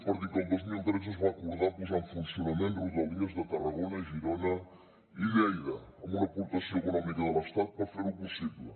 per dir que el dos mil tretze es va acordar posar en funcionament rodalies de tarragona girona i lleida amb una aportació econòmica de l’estat per fer ho possible